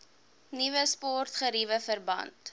nuwe sportgeriewe verband